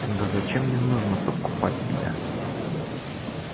да зачем мне нужно подкупать тебя